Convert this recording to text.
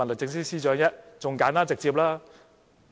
豈不是更簡單直接？